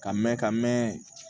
Ka mɛn ka mɛɛn